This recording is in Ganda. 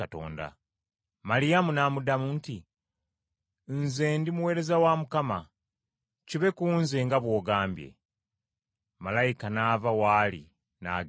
Maliyamu n’addamu nti, “Nze ndi muweereza wa Mukama, kibe ku nze nga bw’ogambye.” Malayika n’ava w’ali, n’agenda.